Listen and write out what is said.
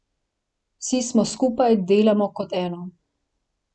Vsi smo skupaj, delamo kot eno.